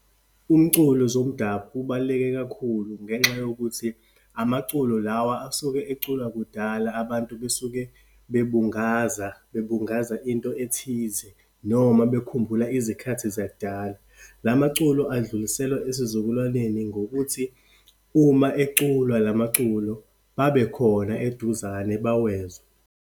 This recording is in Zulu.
Umculo zomdabu ubaluleke kakhulu, ngenxa yokuthi amaculo lawa asuke eculwa kudala, abantu basuke bebungaza, bebungaza into ethize noma bekhumbula izikhathi zakudala. Lamaculo adluliselwa esizukulwaneni ngokuthi uma eculwa lamaculo, babekhona eduzane, bawezwe.